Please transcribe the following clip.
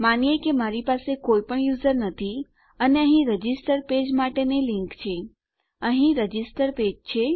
માનીએ કે મારી પાસે કોઈપણ યુઝર નથી અને અહીં રજીસ્ટર પેજ માટેની લીંક છે અહીં રજીસ્ટર પેજ છે